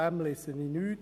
Davon lese ich nichts.